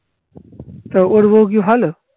তা কি ভালো